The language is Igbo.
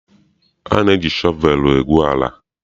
A na-eji shọvelụ egwu ala.